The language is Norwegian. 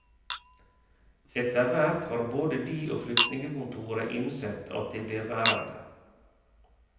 Etterhvert har både de og flyktningekontoret innsett at de blir værende.